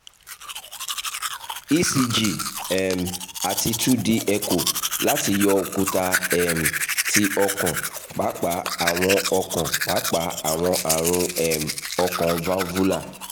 ecg um ati two d echo lati yọ okunfa um ti okan paapaa awọn okan paapaa awọn arun um ọkàn valvular